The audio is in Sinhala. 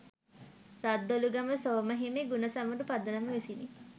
රද්දොළුගම සෝම හිමි ගුණසමරු පදනම විසිනි.